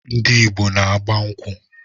Ndị Igbo n-agba nkwụ.